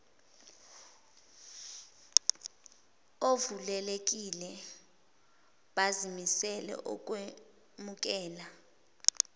ovulelekile bazimisele ukwemukela